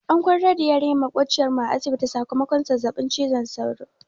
An kwantar da yarinyar maƙociyar mu a asibiti sakamakon zazzaɓin cizon sauro.